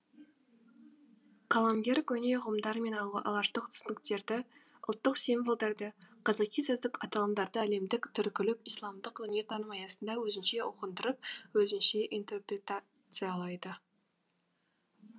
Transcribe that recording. қаламгер көне ұғымдар мен алаштық түсініктерді ұлттық символдарды қазақи сөздік аталымдарды әлемдік түркілік исламдық дүниетаным аясында өзінше ұғындырып өзінше интерпретациялайды